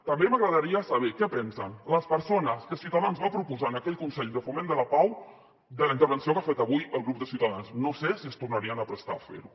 també m’agradaria saber què pensen les persones que ciutadans va proposar en aquell consell de foment de la pau de la intervenció que ha fet avui el grup de ciutadans no sé si es tornarien a prestar a fer ho